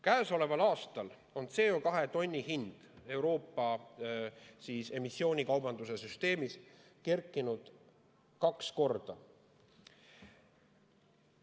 Käesoleval aastal on CO2 tonni hind Euroopa emissioonikaubanduse süsteemis kerkinud kaks korda.